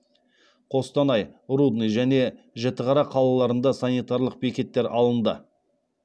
қостанай рудный және жетіқара қалаларында санитарлық бекеттер алынды